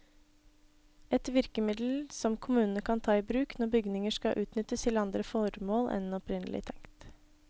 Et virkemiddel som kommunene kan ta i bruk når bygninger skal utnyttes til andre formål enn opprinnelig tenkt.